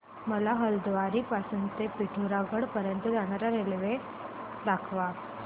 मला हलद्वानी पासून ते पिठोरागढ पर्यंत जाण्या करीता रेल्वे दाखवा